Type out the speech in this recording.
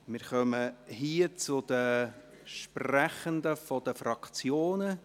Wir kommen zu den Sprechenden der Fraktionen.